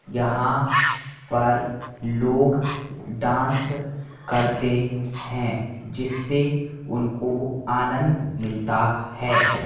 यहाँ पर लोग डांस करते हैं जिससे उनको आनंद मिलता है।